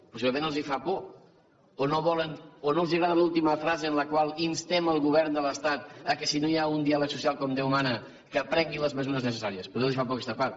possiblement els fa por o no volen o no els agrada l’última frase en la qual instem el govern de l’estat que si no hi ha un diàleg social com déu mana que prengui les mesures necessàries potser els fa por aquesta part